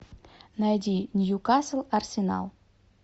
найди ньюкасл арсенал